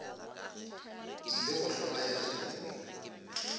ile go hlola yena tumi